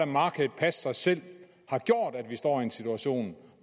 markedet passe sig selv har gjort at vi står i en situation